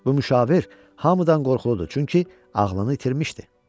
Bu müşavir hamıdan qorxuludur, çünki ağlını itirmişdi.